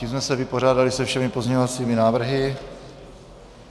Tím jsme se vypořádali se všemi pozměňovacími návrhy.